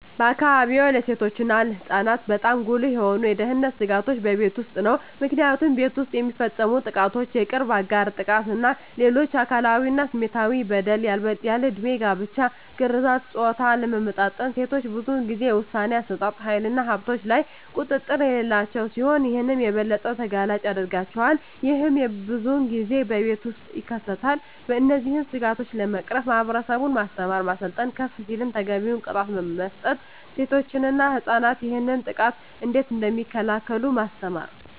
በአካባቢዎ ለሴቶች እና ለህፃናት በጣም ጉልህ የሆኑ የደህንነት ስጋቶች በቤት ውስጥ ነው። ምክንያቱም ቤት ውስጥ የሚፈፀሙ ጥቃቶች የቅርብ አጋር ጥቃት እና ሌሎች አካላዊ እና ስሜታዊ በደል፣ ያልድሜ ጋብቻ፣ ግርዛት፣ የፆታ አለመመጣጠን፣ ሴቶች ብዙን ጊዜ የውሣኔ አሠጣጥ ሀይልና በሀብቶች ላይ ቁጥጥር የሌላቸው ሲሆን ይህም የበለጠ ተጋላጭ ያደርጋቸዋል። ይህም ብዙን ጊዜ በቤት ውስጥ ይከሰታል። እነዚህን ስጋቶች ለመቅረፍ ማህበረሰቡን ማስተማር፣ ማሰልጠን፣ ከፍ ሲልም ተገቢውን ቅጣት መስጠት፣ ሴቶች እና ህፃናት ይህንን ጥቃት እንዴት እደሚከላከሉ ማስተማር።